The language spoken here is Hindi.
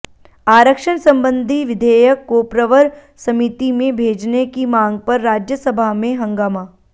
आरक्षण संबंधी विधेयक को प्रवर समिति में भेजने की मांग पर राज्यसभा में हंगामा